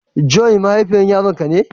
Joy mahaifiyar Yaran ka ne?